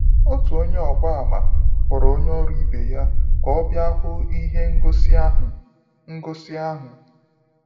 Otu Onye ọgba àmà kpọrọ onye ọrụ ibe ya ka ọ bịa hụ ihe ngosi ahụ. ngosi ahụ.